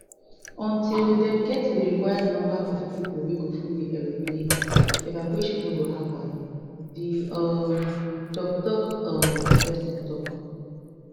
until dem get di required number of pipo wey go full di aeroplane evacuation no go happun di um toktok um pesin tok